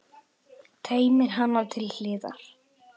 Teymir hana til hliðar.